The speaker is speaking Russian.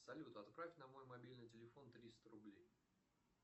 салют отправь на мой мобильный телефон триста рублей